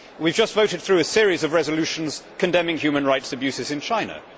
We have just voted through a series of resolutions condemning human rights abuses in China.